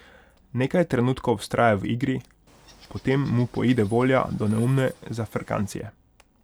Nekaj trenutkov vztraja v igri, potem mu poide volja do neumne zafrkancije.